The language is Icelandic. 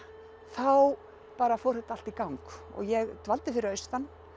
þá fór þetta allt í gang ég dvaldi fyrir austan